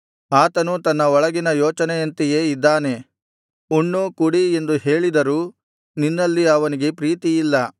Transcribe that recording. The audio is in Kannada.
ಅವನು ತನ್ನ ಒಳಗಿನ ಯೋಚನೆಯಂತೆಯೇ ಇದ್ದಾನೆ ಉಣ್ಣು ಕುಡಿ ಎಂದು ಹೇಳಿದರೂ ನಿನ್ನಲ್ಲಿ ಅವನಿಗೆ ಪ್ರೀತಿಯಿಲ್ಲ